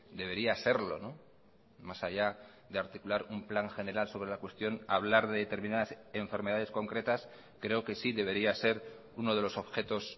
debería serlo más allá de articular un plan general sobre la cuestión hablar de determinadas enfermedades concretas creo que sí debería ser uno de los objetos